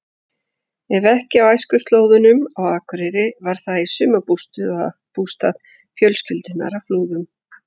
Ef ekki á æskuslóðunum á Akureyri var það í sumarbústað fjölskyldunnar á Flúðum.